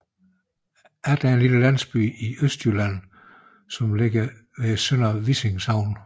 Addit er en lille landsby i Østjylland beliggende i Sønder Vissing Sogn